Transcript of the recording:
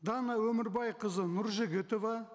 дана өмірбайқызы нұржігітова